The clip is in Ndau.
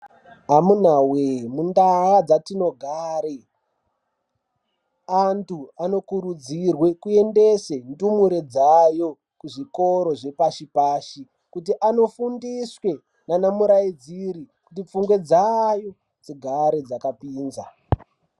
Amuna voye mundaa dzatinogare antu anokurudzire kuendese ndumure dzayo kuzvikoro zvepashi-pashi. Kuti anofundiswe nana muraidziri kuti pfungwe dzayo dzigare dzakapinza.